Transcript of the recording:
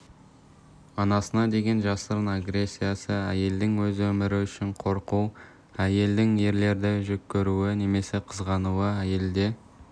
анасына деген жасырын агрессиясы әйелдің өз өмірі үшін қорқуы әйелдің ерлерді жеккөруі немесе қызғануы әйелде